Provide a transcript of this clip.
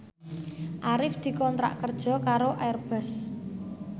Arif dikontrak kerja karo Airbus